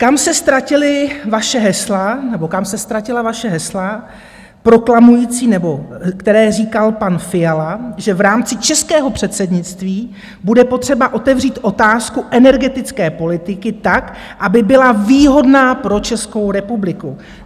Kam se ztratila vaše hesla proklamující - nebo která říkal pan Fiala - že v rámci českého předsednictví bude potřeba otevřít otázku energetické politiky tak, aby byla výhodná pro Českou republiku?